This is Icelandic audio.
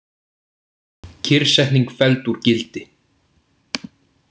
Kyrrsetning felld úr gildi